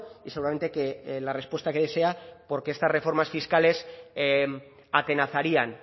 y seguramente que la respuesta que desea porque estas reformas fiscales atenazarían